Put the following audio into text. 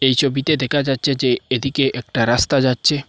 এই ছবিতে দেখা যাচ্চে যে এদিকে একটা রাস্তা যাচ্চে।